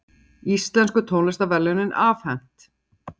Íslensku tónlistarverðlaunin afhent